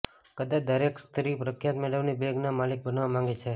કદાચ દરેક સ્ત્રી પ્રખ્યાત મેડમની બેગના માલિક બનવા માંગે છે